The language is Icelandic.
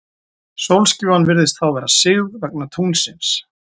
Sólskífan virðist þá vera sigð, vegna tunglsins.